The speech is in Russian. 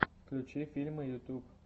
включи фильмы ютуб